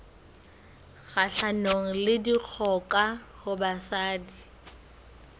kgahlanong le dikgoka ho basadi